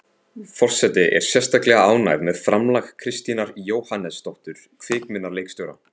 Forseti er sérstaklega ánægð með framlag Kristínar Jóhannesdóttur kvikmyndaleikstjóra.